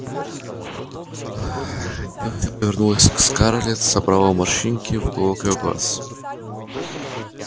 дилси повернулась к скарлетт и затаённая улыбка собрала морщинки в уголках её глаз